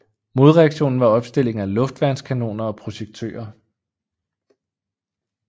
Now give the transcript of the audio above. Modreaktionen var opstilling af luftværnskanoner og projektører